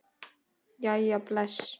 Jæja bless